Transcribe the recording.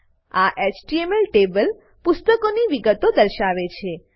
આ HTML table પુસ્તકોની વિગતો દર્શાવશે